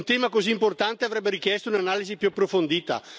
Un tema così importante avrebbe richiesto un'analisi più approfondita.